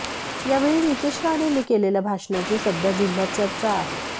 यावेळी नितेश राणेंनी केलेल्या भाषणाची सध्या जिल्ह्यात चर्चा आहे